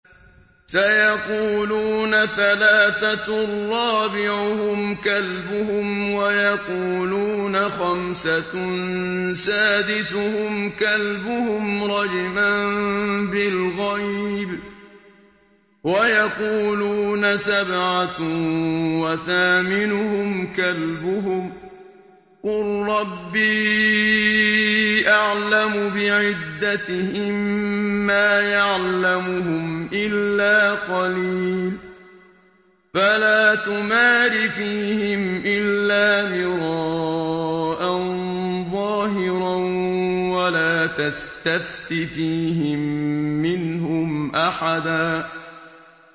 سَيَقُولُونَ ثَلَاثَةٌ رَّابِعُهُمْ كَلْبُهُمْ وَيَقُولُونَ خَمْسَةٌ سَادِسُهُمْ كَلْبُهُمْ رَجْمًا بِالْغَيْبِ ۖ وَيَقُولُونَ سَبْعَةٌ وَثَامِنُهُمْ كَلْبُهُمْ ۚ قُل رَّبِّي أَعْلَمُ بِعِدَّتِهِم مَّا يَعْلَمُهُمْ إِلَّا قَلِيلٌ ۗ فَلَا تُمَارِ فِيهِمْ إِلَّا مِرَاءً ظَاهِرًا وَلَا تَسْتَفْتِ فِيهِم مِّنْهُمْ أَحَدًا